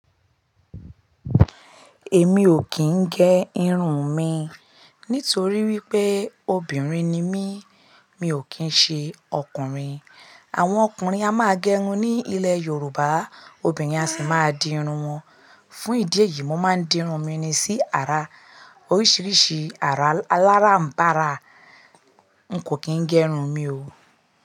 Èmi ò kì í gẹ irun mi nítorí wípé obìnrin ni mí, mi ò kín ṣe ọkùnrin. Àwọn ọkùnrin a máa gẹrun ní ilẹ̀ Yorùbá, obìnrin a sì máa di irun wọn. Fún ìdí èyí, mo máa ń di irun mi ni sí ara. Oríṣiríṣi àrà aláńbarà, n kò kí ń gẹrun mi o.